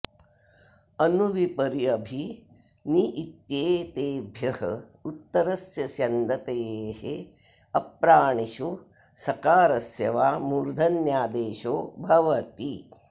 अनु वि परि अभि नि इत्येतेभ्यः उत्तरस्य स्यन्दतेः अप्राणिषु सकारस्य वा मूर्धन्यादेशो भवति